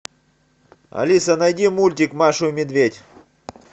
алиса найди мультик машу и медведь